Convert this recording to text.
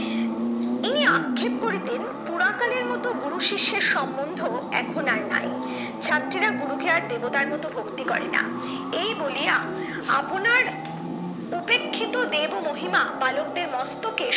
তিনি আক্ষেপ করিতেন পুরা কালের মত গুরু শিষ্যের সমন্ধ এখন আর নাই ছাত্রীরা গুরুকে আর দেবতার মত ভক্তি করেনা এই বলিয়া আপনার উপেক্ষিত দেব মহিমা বালকদের মস্তকে